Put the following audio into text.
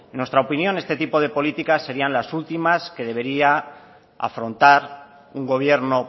en nuestra opinión este tipo de políticas serían las últimas que debería afrontar un gobierno